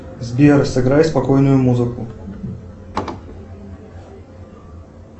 сбер сыграй спокойную музыку